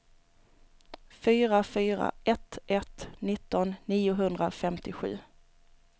fyra fyra ett ett nitton niohundrafemtiosju